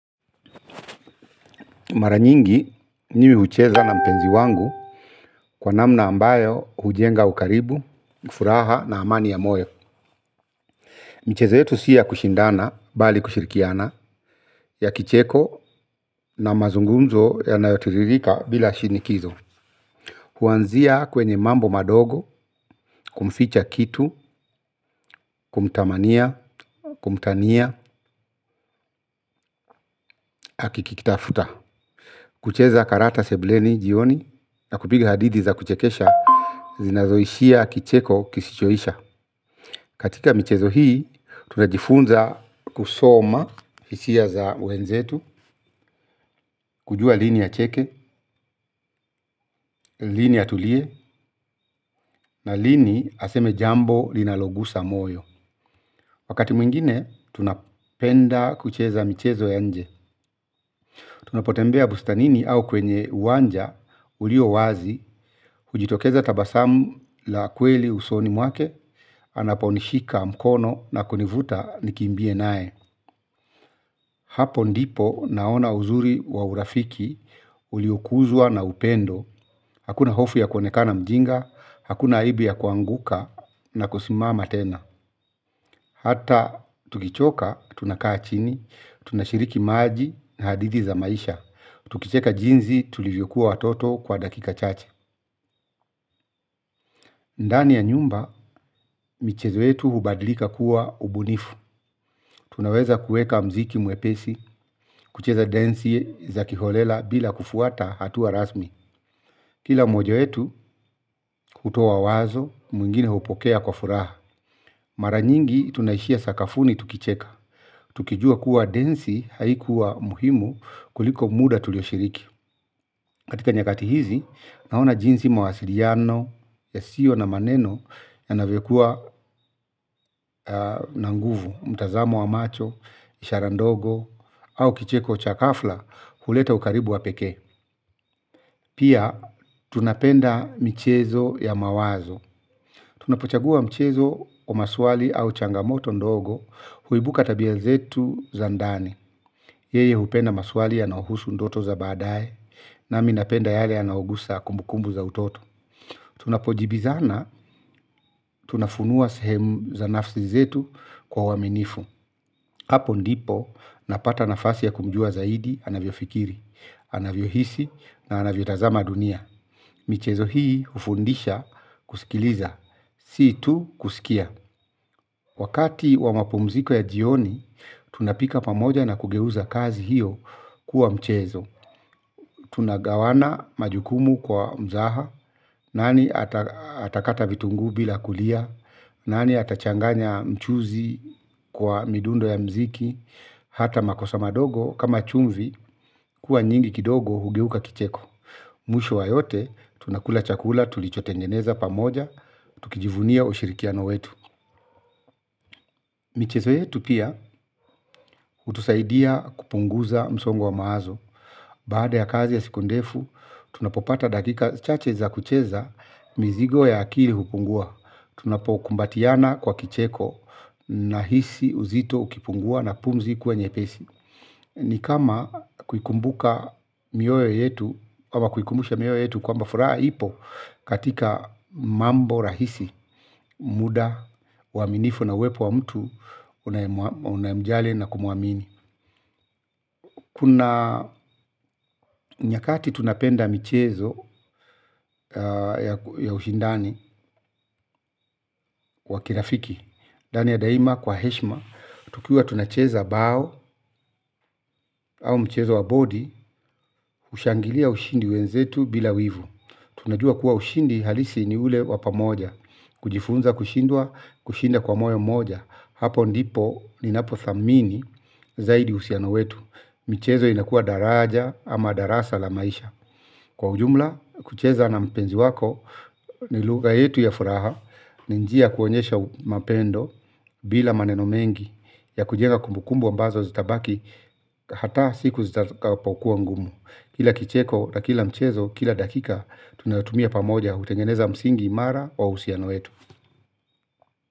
Mara nyingi mimi hucheza na mpenzi wangu kwa namna ambayo hujenga ukaribu, furaha na amani ya moyo. Michezo yetu si ya kushindana bali kushirikiana ya kicheko na mazungumzo yanayotiririka bila shinikizo. Huanzia kwenye mambo madogo kumficha kitu, kumtamania, kumtania, akikitafuta. Kucheza karata sebuleni jioni na kupiga hadithi za kuchekesha zinazoishia kicheko kisichoisha. Katika michezo hii, tunajifunza kusoma hisia za wenzetu, kujua lini acheke, lini atulie, na lini aseme jambo linalogusa moyo. Wakati mwingine, tunapenda kucheza michezo ya nje. Tunapotembea bustanini au kwenye uwanja ulio wazi, hujitokeza tabasamu la kweli usoni mwake, anaponishika mkono na kunivuta nikimbie nae. Hapo ndipo naona uzuri wa urafiki, uliokuzwa na upendo, hakuna hofu ya kuonekana mjinga, hakuna aibu ya kuanguka na kusimama tena. Hata tukichoka tunakaa chini, tunashiriki maji na hadithi za maisha, tukicheka jinsi tulivyokuwa watoto kwa dakika chache. Ndani ya nyumba, michezo yetu hubadilika kuwa ubunifu. Tunaweza kuweka muziki mwepesi, kucheza densi za kiholela bila kufuata hatua rasmi. Kila mmoja wetu, hutoa wazo, mwingine hupokea kwa furaha. Mara nyingi, tunaishia sakafuni tukicheka. Tukijua kuwa densi haikuwa muhimu kuliko muda tulioshiriki. Katika nyakati hizi, naona jinsi mawasiliano yasiyo na maneno yanavyokuwa na nguvu, mtazamo wa macho, ishara ndogo, au kicheko cha ghafla kuleta ukaribu wa pekee. Pia, tunapenda michezo ya mawazo. Tunapochagua michezo wa maswali au changamoto ndogo huibuka tabia zetu za ndani. Yeye hupenda maswali yanayohusu ndoto za baadaye nami napenda yale yanayogusa kumbukumbu za utoto. Tunapojibizana, tunafunua sehemu za nafsi zetu kwa uaminifu. Hapo ndipo, napata nafasi ya kumjua zaidi, anavyofikiri, anavyohisi, na anavyotazama dunia. Michezo hii hufundisha kusikiliza, si tu kusikia. Wakati wa mapumziko ya jioni, tunapika pamoja na kugeuza kazi hiyo kuwa mchezo. Tunagawana majukumu kwa mzaha, nani atakata vitungu bila kulia, nani atachanganya mchuzi kwa midundo ya muziki. Hata makosa madogo, kama chumvi, kuwa nyingi kidogo hugeuka kicheko. Mwisho wa yote, tunakula chakula, tulichotengeneza pamoja, tukijivunia ushirikiano wetu. Michezo yetu pia, hutusaidia kupunguza msongo wa mawazo. Baada ya kazi ya siku ndefu, tunapopata dakika chache za kucheza mizigo ya akili hupungua. Tunapokumbatiana kwa kicheko nahisi uzito ukipungua na pumzi kuwa nyepesi. Ni kama kukumbuka mioyo yetu kwamba furaha ipo katika mambo rahisi muda uaminifu na uwepo wa mtu unayemjali na kumwamini. Kuna nyakati tunapenda michezo ya ushindani wa kirafiki. Ndani ya daima kwa heshima, tukiwa tunacheza bao au mchezo wa bodi, hushangilia ushindi wenzetu bila wivu. Tunajua kuwa ushindi halisi ni ule wa pamoja, kujifunza kushindwa, kushinda kwa moyo moja, hapo ndipo ninapothamini zaidi uhusiano wetu. Michezo inakuwa daraja ama darasa la maisha. Kwa ujumla, kucheza na mpenzi wako, ni lugha yetu ya furaha, ni njia ya kuonyesha mapendo, bila maneno mengi, ya kujenga kumbukumbu ambazo zitabaki, hata siku zitakapokuwa ngumu. Kila kicheko na kila mchezo, kila dakika, tunatumia pamoja, hutengeneza msingi imara wa uhusiano yetu.